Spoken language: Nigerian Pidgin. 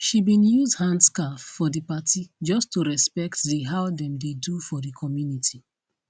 she bin use handscarf for the party just to respect the how them dey do for the community